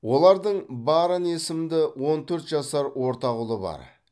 олардың баррон есімді он төрт жасар ортақ ұлы бар